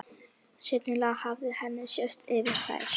Sennilega hafði henni sést yfir þær.